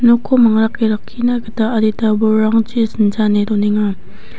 nokko mangrake rakkina gita adita bolrangchi sinchane donenga.